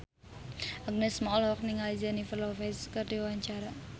Agnes Mo olohok ningali Jennifer Lopez keur diwawancara